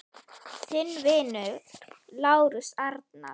Þinn vinur, Lárus Arnar.